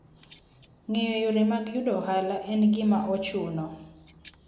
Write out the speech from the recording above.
Ng'eyo yore mag yudo ohala en gima ochuno.